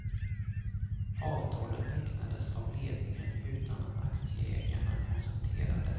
Avtalet tecknades av ledningen utan att aktieägarna konsulterades.